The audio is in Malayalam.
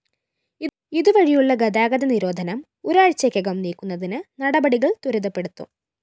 ഇതു വഴിയുളള ഗതാഗത നിരോധനം ഒരാഴ്ചക്കകം നീക്കുന്നതിന് നടപടികള്‍ ത്വരിതപ്പെടുത്തും